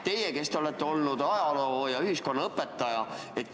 Teie olete olnud ajaloo‑ ja ühiskonnaõpetuse õpetaja.